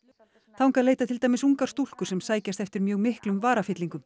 þangað leita til dæmis ungar stúlkur sem sækjast eftir mjög miklum